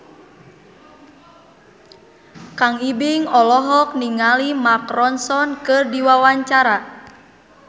Kang Ibing olohok ningali Mark Ronson keur diwawancara